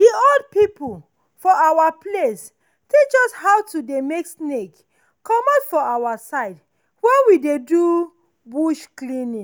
the old people for our place teach us how to dey make snake comot for our side when we dey do bush clearing.